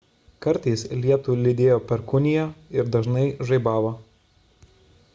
kartais lietų lydėjo perkūnija ir dažnai žaibavo